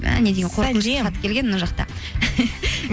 мә не деген қорқынышты хат келген мына жақта